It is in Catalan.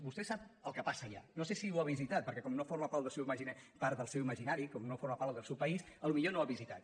vostè sap el que passa allà no sé si ho ha visitat perquè com no forma part del seu imaginari com no forma part del seu país potser no ho ha visitat